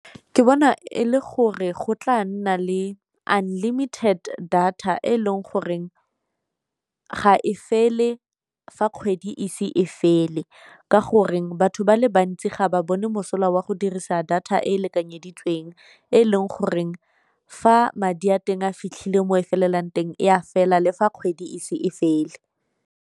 Ke bona e le gore go tla nna le unlimited data e leng goreng ga e fele fa kgwedi ise e fele, ka gore batho ba le bantsi ga ba bone mosola wa go dirisa data e e lekanyeditsweng e leng goreng fa madi a teng a fitlhile mo e felelang teng e a fela le fa kgwedi ise e fele.